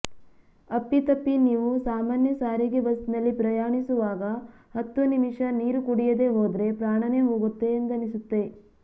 ಅಪ್ಪಿತಪ್ಪಿ ನೀವು ಸಾಮಾನ್ಯ ಸಾರಿಗೆ ಬಸ್ ನಲ್ಲಿ ಪ್ರಯಾಣಿಸುವಾಗ ಹತ್ತು ನಿಮಿಷ ನೀರು ಕುಡಿಯದೇ ಹೋದ್ರೆ ಪ್ರಾಣನೇ ಹೋಗುತ್ತೆ ಎಂದನಿಸುತ್ತೆ